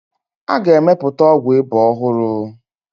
A ga-emepụta ọgwụ ịba ọhụrụ.